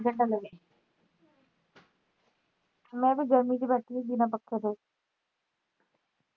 ਮੈਂ ਫਿਰ ਗਰਮੀ ਚ ਬੈਠੀ ਹੀ ਬਿਨਾਂ ਪੱਖੇ ਤੋਂ